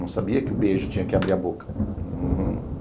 Não sabia que o beijo tinha que abrir a boca.